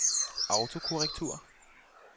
autokorrektur